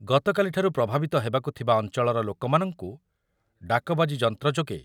ଗତକାଲିଠାରୁ ପ୍ରଭାବିତ ହେବାକୁଥିବା ଅଞ୍ଚଳର ଲୋକମାନଙ୍କୁ ଡାକବାଜି ଯନ୍ତ୍ର ଯୋଗେ